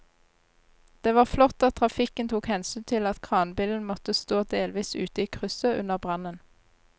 Det var flott at trafikken tok hensyn til at kranbilen måtte stå delvis ute i krysset under brannen.